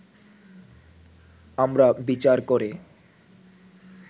আমরা বিচার করে